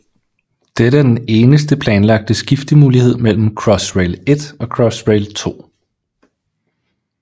Dette er den eneste planlagte skiftemulighed mellem Crossrail 1 og Crossrail 2